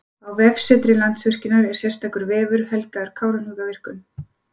Á vefsetri Landsvirkjunar er sérstakur vefur helgaður Kárahnjúkavirkjun.